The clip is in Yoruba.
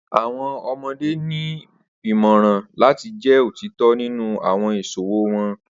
Awọn ọmọde ni imọran lati jẹ otitọ ninu awọn iṣowo wọn.